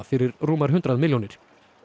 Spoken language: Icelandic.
fyrir rúmar hundrað milljónir